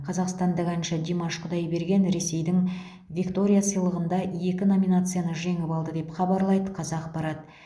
қазақстандық әнші димаш құдайберген ресейдің виктория сыйлығында екі номинацияны жеңіп алды деп хабарлайды қазақпарат